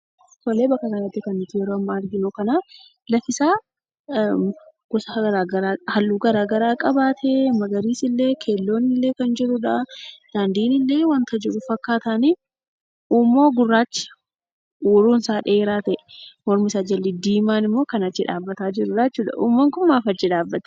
Suuraa kanarratti kan nuti argaa jirru allaattii gosi isaa garaagaraa gurraachi, adiin keelloon illee kan jirudha. Daandiin illee waan jiru fakkaata. Huummoo gurraacha huuruun isaa dheeraa ta'e mormisaa jalli diimaan immoo kan achi dhaabbataa jirudha. Huummoon kun maaliif achi dhaabbata?